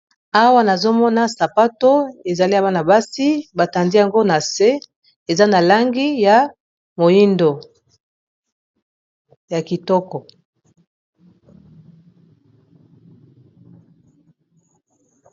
Awa nazomona sapato ezali ya bana basi, batandi yango na se, eza na langi ya moindo ya kitoko.